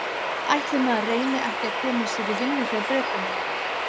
Ætli maður reyni ekki að koma sér í vinnu hjá Bretunum.